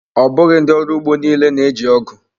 Ọ bụghị ndị ọrụ ugbo niile na-eji ọgụ.